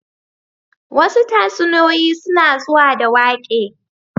Wasu tatsuniyoyin suna zuwa da waƙe